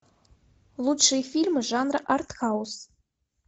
лучшие фильмы жанра артхаус